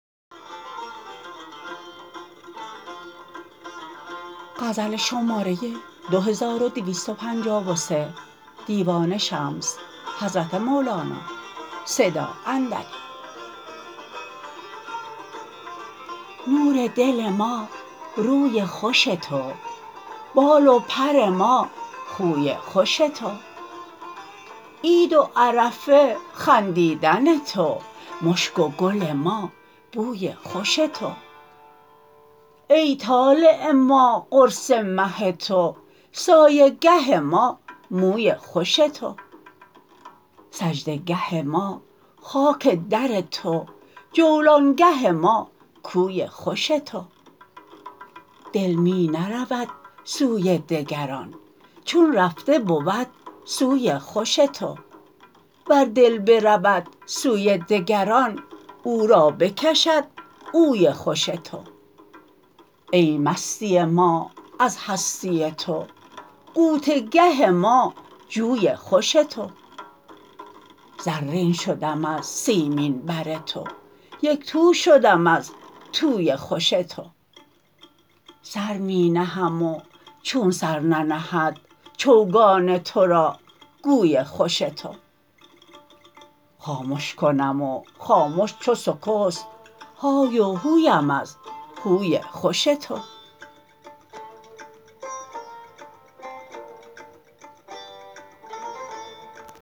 نور دل ما روی خوش تو بال و پر ما خوی خوش تو عید و عرفه خندیدن تو مشک و گل ما بوی خوش تو ای طالع ما قرص مه تو سایه گه ما موی خوش تو سجده گه ما خاک در تو جولانگه ما کوی خوش تو دل می نرود سوی دگران چون رفته بود سوی خوش تو ور دل برود سوی دگران او را بکشد اوی خوش تو ای مستی ما از هستی تو غوطه گه ما جوی خوش تو زرین شدم از سیمین بر تو یک تو شدم از توی خوش تو سر می نهم و چون سر ننهد چوگان تو را گوی خوش تو خامش کنم و خامش چو سکست های و هویم از هوی خوش تو